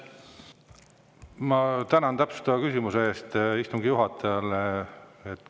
Ma tänan täpsustava küsimuse eest istungi juhatajale!